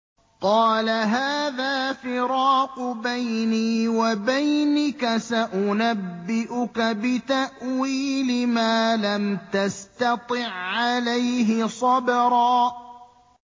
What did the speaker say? قَالَ هَٰذَا فِرَاقُ بَيْنِي وَبَيْنِكَ ۚ سَأُنَبِّئُكَ بِتَأْوِيلِ مَا لَمْ تَسْتَطِع عَّلَيْهِ صَبْرًا